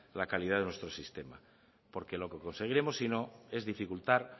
la calidad de nuestro sistema porque lo que conseguiremos sino es dificultar